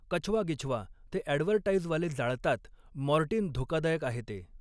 कछवा गिछवा ते ॲडव्हर्टाइजवाले जाळतात मॉर्टिन धोकादायक आहे ते